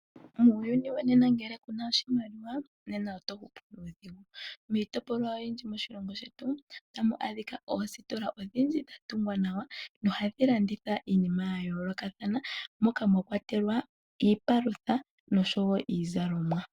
Muuyuni wonena ngele kuna oshimaliwa nena oto hupu nuudhigu ,miitopolwa oyindji moshilongo shetu otamu adhika oositola odhindji dhatungwa nawa nohadhi landitha iinima ya yoolokathana moka mwakwatelwa iipalutha oshowo iizalomwa.